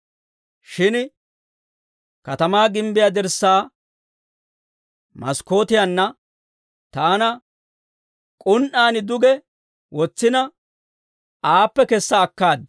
Shin Katamaa gimbbiyaa dirssaa maskkootiyaanna taana k'un"aan duge wotsina, aappe kessa akkaad.